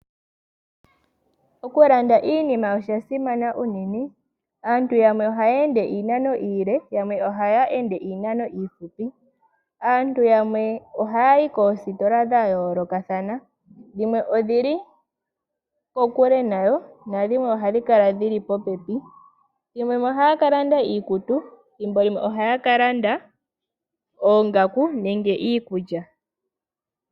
Okulanda iinima osha simana unene. Aantu yamwe ohaya ende iinano iile yamwe ohaya ende iinano iihupi. Aantu yamwe ohaya yi koositola dha yoolokathana dhimwe odhili kokule nayo nadhimwe odhili popepi nayo. Thimbo limwe ohaya ka landa iikutu thimbo limwe ohaya ka landa oongaku nenge iikulya.